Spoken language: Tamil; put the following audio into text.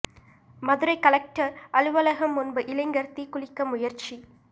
மதுரை கலெக்டர் அலுவலகம் முன்பு இளைஞர் தீக்குளிக்க முயற்சி